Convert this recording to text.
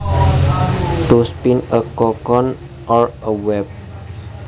To spin a cocoon or a web